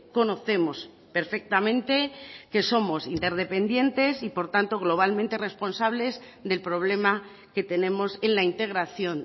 conocemos perfectamente que somos interdependientes y por tanto globalmente responsables del problema que tenemos en la integración